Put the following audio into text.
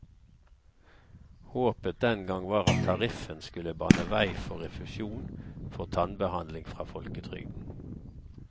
Håpet den gang var at tariffen skulle bane vei for refusjon for tannbehandling fra folketrygden.